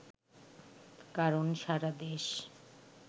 কারণ সারা দেশ